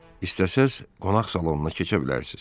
İstəsəz qonaq salonuna keçə bilərsiz.